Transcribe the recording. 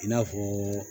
I n'a fɔ